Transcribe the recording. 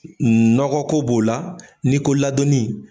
Nɔgɔ ko b'o la, n'i ko ladonni